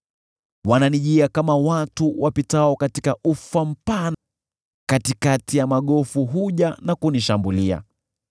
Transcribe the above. Wananijia kama watu wapitao katika ufa mpana; katikati ya magofu huja na kunishambulia.